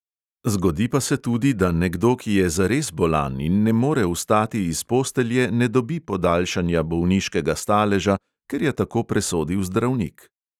Zgodi pa se tudi, da nekdo, ki je zares bolan in ne more vstati iz postelje, ne dobi podaljšanja bolniškega staleža, ker je tako presodil zdravnik.